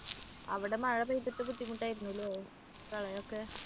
അവിടെ മഴ പെയ്തിട്ട് ബുദ്ധിമുട്ടായിരുന്നല്ലേ? പ്രളയം ഒക്കെ